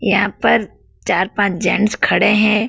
यहां पर चार पांच जेंट्स खडे है।